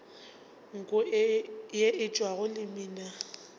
nko ye e tšwago lemina